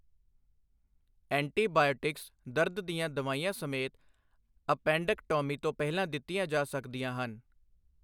Antibiotics, ਦਰਦ ਦੀਆਂ ਦਵਾਈਆਂ ਸਮੇਤ, ਐਪੈਂਡਕਟੌਮੀ ਤੋਂ ਪਹਿਲਾਂ ਦਿੱਤੀਆਂ ਜਾ ਸਕਦੀਆਂ ਹਨ।